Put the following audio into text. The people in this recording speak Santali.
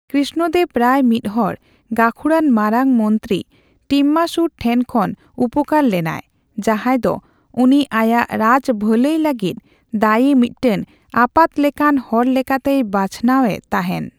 ᱠᱨᱤᱥᱱᱚᱫᱮᱵ ᱨᱟᱭ ᱢᱤᱫᱦᱚᱲ ᱜᱟᱹᱠᱷᱩᱲᱟᱱ ᱢᱟᱨᱟᱝ ᱢᱚᱱᱛᱨᱤ ᱴᱤᱢᱢᱟᱨᱥᱩᱨ ᱴᱷᱮᱱ ᱠᱷᱚᱱ ᱩᱯᱠᱟᱹᱨ ᱞᱮᱱᱟᱭ, ᱡᱟᱦᱟᱭ ᱫᱚ ᱩᱱᱤ ᱟᱭᱟᱜ ᱨᱟᱡ ᱵᱷᱟᱹᱞᱟᱹᱭ ᱞᱟᱹᱜᱤᱫ ᱫᱟᱹᱭᱤ ᱢᱤᱫᱴᱟᱝ ᱟᱯᱟᱛ ᱞᱮᱠᱟᱱ ᱦᱚᱲ ᱞᱮᱠᱟᱛᱮᱭ ᱵᱟᱪᱷᱱᱟᱣᱼᱮ ᱛᱟᱦᱮᱱ ᱾